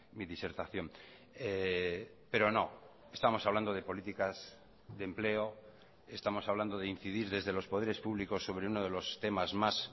mi disertación pero no estamos hablando de políticas de empleo estamos hablando de incidir desde los poderes públicos sobre uno de los temas más